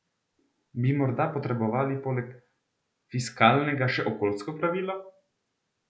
Bi morda potrebovali poleg fiskalnega še okoljsko pravilo?